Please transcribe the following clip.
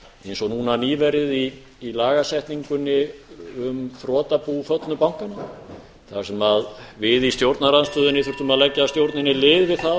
eins og núna nýverið í lagasetningunni um þrotabú föllnu bankanna þar sem við í stjórnarandstöðunni þurftum að leggja stjórninni lið við það